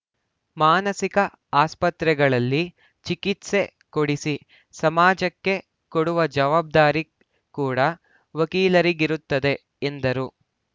ಮಾನಸಿಕ ಆಸ್ಪತ್ರೆಗಳಲ್ಲಿ ಚಿಕಿತ್ಸೆ ಕೊಡಿಸಿ ಸಮಾಜಕ್ಕೆ ಕೊಡುವ ಜವಾಬ್ದಾರಿ ಕೂಡ ವಕೀಲರಿಗಿರುತ್ತದೆ ಎಂದರು